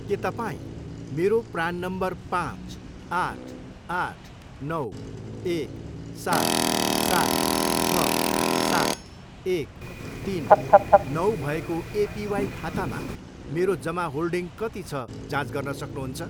के तपाईँँ मेरो प्नान नम्बर पाँच, आठ, आठ, नौ, एक, सात, सात, छ, सात, एक, तिन, नौ भएको एपिवाई खातामा मेरो जमा होल्डिङ कति छ जाँच गर्न सक्नुहुन्छ?